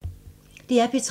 DR P3